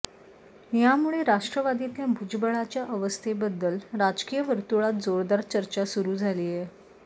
यामुळे राष्ट्रवादीतल्या भुजबळांच्या अस्वस्थतेबद्दल राजकीय वर्तुळात जोरदार चर्चा सुरू झालीय